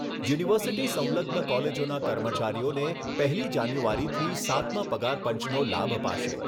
University સંલગ્ન કોલેજોના કર્મચારીઓને પહેલી જાન્યુઆરીથી સાતમા પગાર પંચનો લાભ અપાશે.